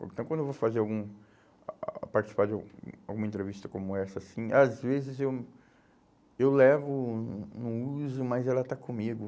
Então, quando eu vou fazer algum, participar de al alguma entrevista como essa assim, às vezes eu, eu, levo, não, não uso, mas ela está comigo.